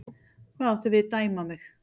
Hvað áttu við, dæma mig?